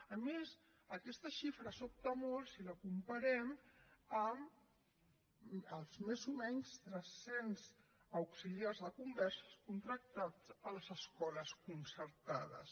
a més aquesta xifra sobta molt si la comparem amb els més o menys tres cents auxiliars de conversa contractats a les escoles concertades